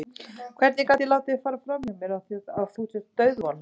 Hvernig gat ég látið það fara fram hjá mér að þú ert dauðvona?